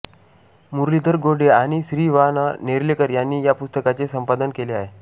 मुरलीधर गोडे आणि श्री वा नेर्लेकर यांनी या पुस्तकाचे संपादन केले आहे